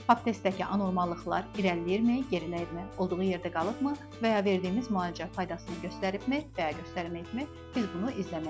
Pap testdəki anormallıqlar irəliləyirmi, geriləyirmi, olduğu yerdə qalıbmı və ya verdiyimiz müalicə faydasını göstəribmi və ya göstərməyibmi, biz bunu izləməliyik.